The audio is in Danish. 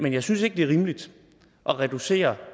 jeg synes ikke det er rimeligt at reducere